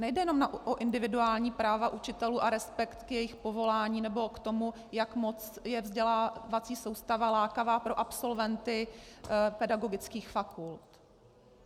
Nejde jen o individuální práva učitelů a respekt k jejich povolání nebo k tomu, jak moc je vzdělávací soustava lákavá pro absolventy pedagogických fakult.